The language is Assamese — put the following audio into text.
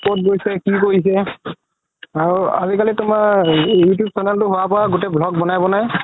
ক'ত গৈছে কি কৰিছে আৰু আজিকালি তুমাৰ you tube funnel তো হুৱাৰ পৰা গুতেই blog বনাই বনাই